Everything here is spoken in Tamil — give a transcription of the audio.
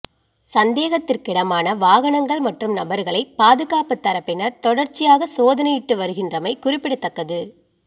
சந்தேகத்திற்கிடமான வாகனங்கள் மற்றும் நபர்களை பாதுகாப்பு தரப்பினர் தொடர்ச்சியாக சோதனையிட்டு வருகின்றமை குறிப்பிடத்தக்கது